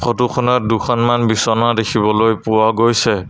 Photo খনত দুখনমান বিছনা দেখিবলৈ পোৱা গৈছে।